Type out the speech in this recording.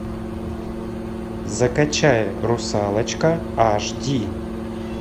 закачай русалочка аш ди